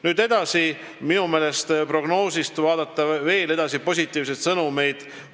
Nüüd edasi, minu meelest võib prognoosist leida veel positiivseid sõnumeid.